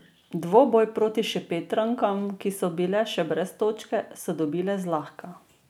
Dvoboj proti Šempetrankam, ki so še brez točke, so dobile zlahka.